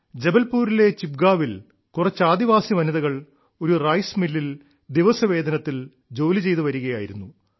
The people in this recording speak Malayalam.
ജബൽപൂരിലെ ചിപ്ഗാവിൽ കുറച്ച് ആദിവാസി വനിതകൾ ഒരു റൈസ് മില്ലിൽ ദിവസവേതനത്തിൽ ജോലിചെയ്തു വരികയായിരുന്നു